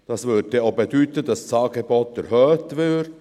Dies würde auch bedeuten, dass das Angebot erhöht wird.